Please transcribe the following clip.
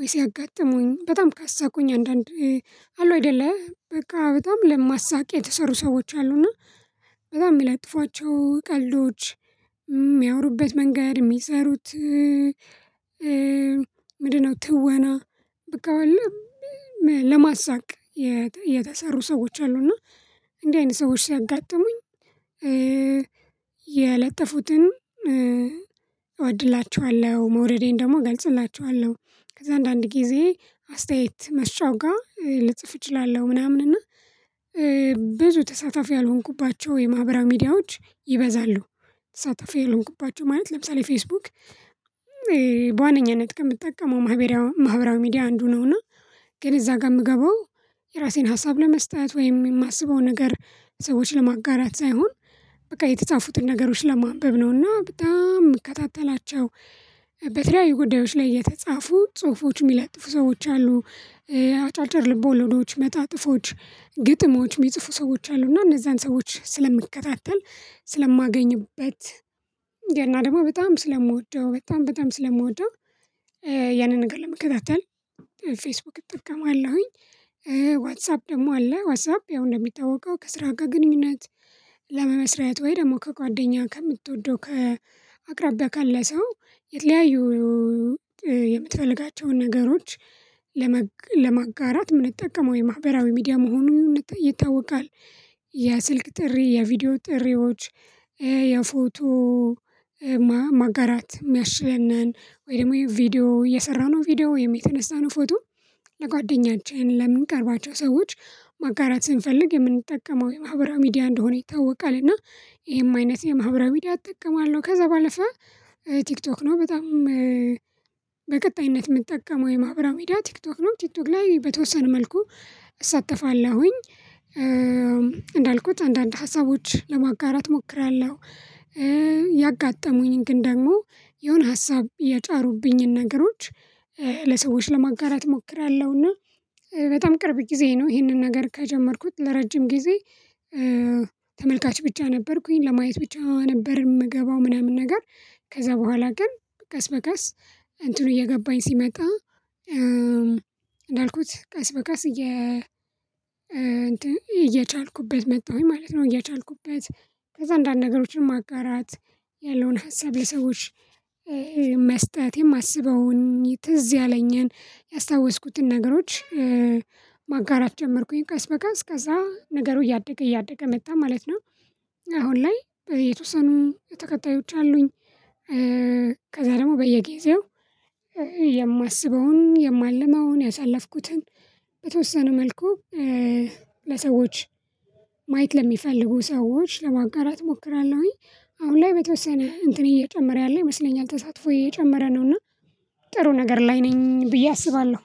ወይስ ያጋጠሙኝ በጣም ካሳቁኝ አንዳንድ አሉ አይደለ በቃ በጣም ለማሳቂያ የተሰሩ ሰዎች አሉ እና በጣም የሚለጥፏቸው ቀልዶች የሚያወሩበት መንገድ የሚሰሩት ምንድነው ትወና በቃ ለማሳቅ የተሰሩ ሰዎች አሉ እና እንዲህ አይነት ሰዎች ሲያጋጥሙኝ ያለጠፉትን እወድላችኋለው መውረዴን ደግሞ እገልጽላችኋለው። ከዛ አንዳንድ ጊዜ አስተያየት መስጫው ጋ ልጽፍ እችላለሁ ምናምን እና ብዙ ተሳታፊ ያልሆንኩባቸው የማህበራዊ ሚዲያዎች ይበዛሉ ተሳታፊ ያልሆንኩባቸው ማለት ለምሳሌ ፌስቡክ በዋነኛነት ከምትጠቀመው ማህበራዊ ሚዲያ አንዱ ነውና ግን እዛ ጋር የምገባው የራሴን ሀሳብ ለመስጠት ወይም የማስበው ነገር ሰዎች ለማጋራት ሳይሆን በቃ የተጻፉትን ነገሮች ለማንበብ ነውና በጣም የምከታተላቸው በተለያዩ ጉዳዮች ላይ የተጻፉ ጽሁፎች የሚለጥፉ ሰዎች አሉ። አጫጭር ልቦለዶች መጣጥፎች ግጥሞች የሚጽፉ ሰዎች አሉ እና እነዛን ሰዎች ስለምከታተል ስለማገኝበት እና ደግሞ በጣም ስለምወደው በጣም በጣም ስለምወደው ያንን ነገር ለመከታተል ፌስቡክ አጠቀማለሁኝ ዋትሳፕ ደግሞ አለ ዋትሳፕ ያው እንደሚታወቀው ከስራ ጋር ግንኙነት ለመመስረት ወይ ደግሞ ከጓደኛ ከምትወደው ከአቅራቢያ ካለ ሰው የተለያዩ የምትፈልጋቸውን ነገሮች ለማጋራት የምንጠቀመው የማህበራዊ ሚዲያ መሆኑን ይታወቃል። የስልክ ጥሪ የቪዲዮ ጥሪዎች የፎቶ ማጋራት የሚያስችለኒን ወይ ደግሞ ቪዲዮ የሰራነው ቪዲዮ የተነሳነው ፎቶ ለጓደኛችን ለምንቀርባቸው ሰዎች ማጋራት ስንፈልግ የምንጠቀመው የማህበራዊ ሚዲያ እንደሆነ ይታወቃል እና ይሄም አይነት የማህበራዊ ሚዲያ እጠቀማለው ከዛ ባለፈ ቲክቶክ ነው በጣም በቀጣይነት የምንጠቀመው የማህበራዊ ሚዲያ ቲክቶክ ነው ቲክቶክ ላይ በተወሰነ መልኩ እሳተፋለሁኝ እንዳልኩት አንዳንድ ሀሳቦች ለማጋራት እሞክራለው ያጋጠሙኝ ግን ደግሞ የሆነ ሀሳብ ያጫሩብኝን ነገሮች ለሰዎች ለማጋራት እሞክራለሁና በጣም ቅርብ ጊዜ ነው ይሄንን ነገር ከጀመርኩት ለረጅም ጊዜ ተመልካች ብቻ ነበርኩኝ ለማየት ብቻ ነበር የምገባው ምናምን ነገር ከዛ ቦኋላ ግን ቀስ በቀስ እንትኑ እየገባኝ ሲመጣ እንዳልኩት ቀስ በቀስ እየ እየቻልኩበት መጣሁኝ ማለት ነው እየቻልኩበት ከዛ አንዳንድ ነገሮችን ማጋራት ያለውን ሀሳብ የሰዎች መስጠት የማስበውን ትዝ ያለኝን ያስታወስኩትን ነገሮች ማጋራት ጀመርኩኝ ቀስ በቀስ ከዛ ነገሩ እያደገ እያደገ መጣ ማለት ነው አሁን ላይ የተወሰኑ ተከታዮች አሉኝ ከዛ ደግሞ በየጊዜው የማስበውን የማልመውን ያሳለፍኩትን በተወሰነ መልኩ ለሰዎች ማየት ለሚፈልጉ ሰዎች ለማጋራት እሞክራለሁኝ አሁን ላይ በተወሰነ እንትን እየጨመረ ያለ ይመስለኛል ተሳትፎዬ እየጨመረ ነው እና ጥሩ ነገር ላይ ነኝ ብዬ አስባለው